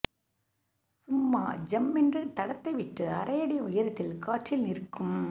சும்மா ஜம்மென்று தடத்தை விட்டு அரையடி உயரத்தில் காற்றில் நிற்கும்